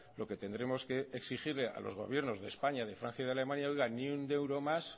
lo que tendremos que exigirle a los gobiernos de españa de francia y de alemania oiga ni un euro más